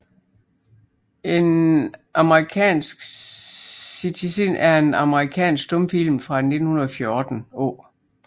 An American Citizen er en amerikansk stumfilm fra 1914 af J